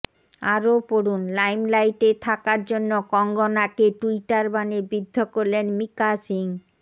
আরও পড়ুন লাইমলাইটে থাকার জন্য কঙ্গনাকে টুইটার বাণে বিদ্ধ করলেন মিকা সিং